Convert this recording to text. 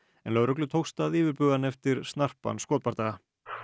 lögreglu tókst að yfirbuga hann eftir snarpan skotbardaga